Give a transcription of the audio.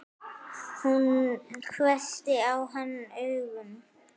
Hún hvessti á hann augun.